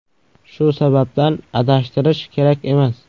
Shu sababdan adashtirish kerak emas.